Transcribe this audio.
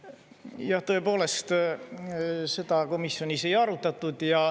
Jah, tõepoolest, seda komisjonis ei arutatud.